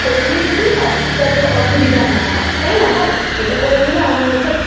করে নিলে কি হয় যাতে অসুবিধা না হয় তাই না বল? এটা করে নিলে আমার মনে হচ্ছে